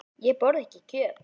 Ég borða ekki kjöt.